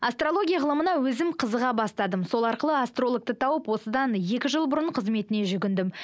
астрология ғылымына өзім қызыға бастадым сол арқылы астрологты тауып осыдан екі жыл бұрын қызметіне жүгіндім